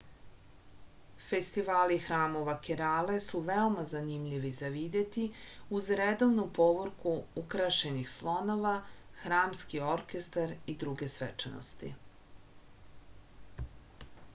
festivali hramova kerale su veoma zanimljivi za videti uz redovnu povorku ukrašenih slonova hramski orkestar i druge svečanosti